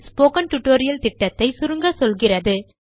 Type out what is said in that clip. spoken tutorial திட்டத்தை சுருங்க சொல்கிறது